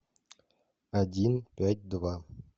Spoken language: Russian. один пять два